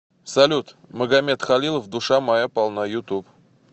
салют магамед халилов душа моя полна ютуб